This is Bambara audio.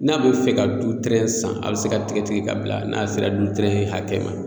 N'a be fɛ ka du tɛrɛn san a be se ka tigɛ tigɛ ka bila n'a sera du tɛrn hakɛ ma